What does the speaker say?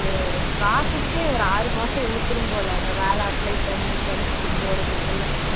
அது process ஏ ஒரு ஆறு மாசம் இழுத்துரும் போல வேலை apply பண்ணி கிடைச்சு போறதுக்குள்ள